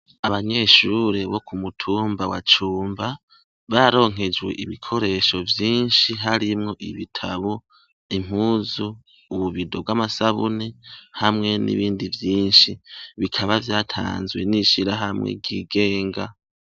Abanyeshure bo ku mutumba wa Cumba bararonkejwe ibikoresho vyinshi harimwo ibitabo, impuzu, ububido bw'amasabune, hamwe n'ibindi vyinshi. Bikaba vyatanzwe n'ishirahamwe ryigenga.